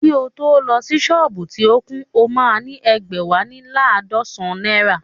Kí o tó ni sọ́ọ̀bù tí ó kún, o máa ní ẹ̀gbẹ́wá lé laadọsan náírà